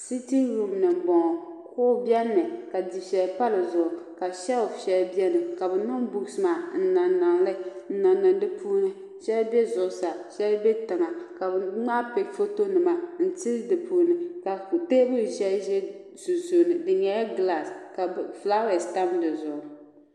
sitin ruum ni n bɔŋɔ kuɣu biɛni mi ka dufɛli pa dizuɣu ka sheelf shɛli biɛni ka bi niŋ buuks maa n niŋ niŋ di puuni shɛli bɛ zuɣusaa shɛli bɛ tiŋa ka bi ŋmaai bihi foto nima n tili di puuni ka teebuli shɛli ʒɛ sunsuuni di nyɛla gilaas ka fulaawees tam dizuɣu